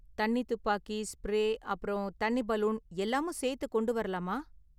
தண்ணி துப்பாக்கி, ஸ்பிரே அப்பறம் தண்ணி பலூன் எல்லாமும் சேத்து கொண்டு வரலாமா?